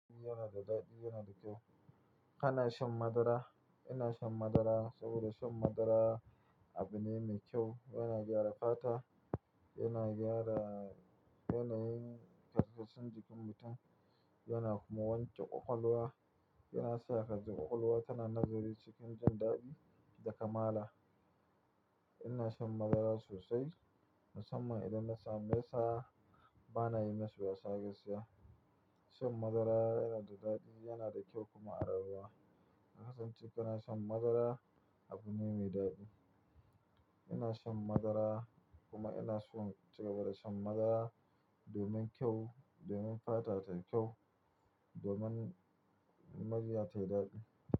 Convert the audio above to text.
Yana da daɗi, yana da kyau. Kana shan madara? Ina shan madara saboda shan madara abu ne mai kyau. Yana gyara fata, yana gyara yanayin karsashin jikin mutum, yana kuma wanke ƙwaƙwalwa. Yana sa hadda ƙwaƙwalwa tana nazari cikin jan daɗi da kamala. Ina shan madara sosai musamman idan na samu. Ta ba na yi masu wasa gaskiya. Shan madara yana da daɗi, yana da kyau kuma a rayuwa ka kasance kana shan madara, abu ne mai daɗi. Ina shan madara kuma ina so in cigaba da shan madara domin kyau, domin fata tayi kyau, domin murya tayi daɗi.